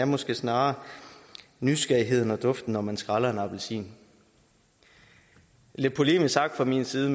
måske snarere er nysgerrigheden og duften når man skræller en appelsin lidt polemisk sagt fra min side